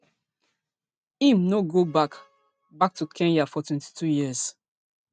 im no go back back to kenya for twenty-two years